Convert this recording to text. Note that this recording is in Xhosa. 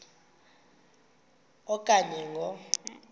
a okanye ngo